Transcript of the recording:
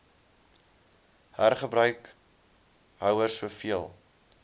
hergebruik houers soveel